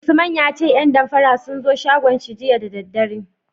Usman ya ce 'yan damfara sun zo shagonsa jiya da daddare.